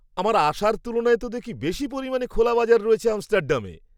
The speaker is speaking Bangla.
আমার আশার তুলনায় তো দেখি বেশি পরিমাণ খোলা বাজার রয়েছে আমস্টারডামে।